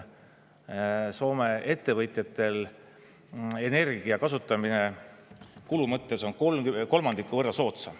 Soome ettevõtjatel on energia kasutamine kulu mõttes kolmandiku võrra soodsam.